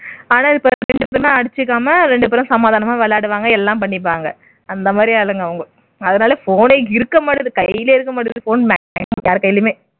ரெண்டு பேரும் அடிச்சுக்காம ரெண்டு பேரும் சமாதானமா விளையாடுவாங்க எல்லாம் பண்ணிப்பாங்க அந்த மாதிரி ஆளுங்க அவங்க அதனா phone ஏ இருக்க மாட்டேங்குது கையிலே இருக்க மாட்டேங்குது phone யார் கைலயுமே